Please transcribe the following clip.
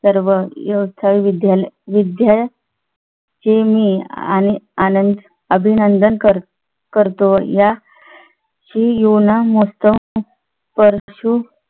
माझी सर्व योद्धा विद्यालयाचे मी आणि आनंद अभिनंदन करतो या ची युवा ना मस्त